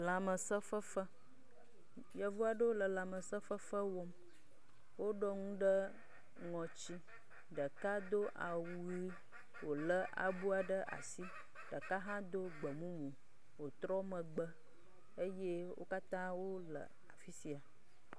Lãmesẽ fefe, yevu aeɖwo le lãmesẽ fefe wɔm, woɖɔ nu ɖe ŋɔtsi, ɖeka do awu ʋi wolé awu ɖe asi, ɖeka hã do awu gbemumu wotrɔ megbe eye wo katã le afi sia.